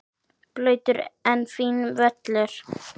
Blautur en fínn völlur.